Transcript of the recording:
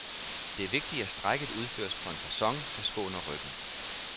Det er vigtigt, at strækket udføres på en facon, der skåner ryggen.